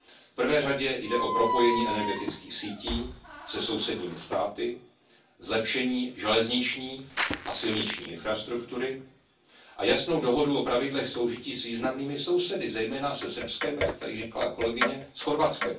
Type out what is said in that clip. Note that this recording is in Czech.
V prvé řadě jde o propojení energetických sítí se sousedními státy, zlepšení železniční a silniční infrastruktury a jasnou dohodu o pravidlech soužití s významnými sousedy, zejména se Srbskem, a jak tady zmínila kolegyně, s Chorvatskem.